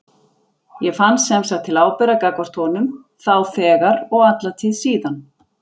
Ég fann sem sagt til ábyrgðar gagnvart honum þá þegar og alla tíð síðan.